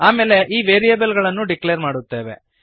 ಆಮೇಲೆ ನಾವು ವೇರಿಯಬಲ್ ಗಳನ್ನು ಡಿಕ್ಲೇರ್ ಮಾಡುತ್ತೇವೆ